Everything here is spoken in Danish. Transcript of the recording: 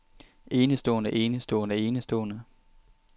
enestående enestående enestående